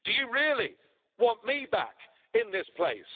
Do you really want me back in this place?